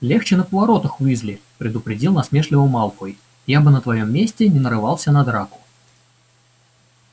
легче на поворотах уизли предупредил насмешливо малфой я бы на твоём месте не нарывался на драку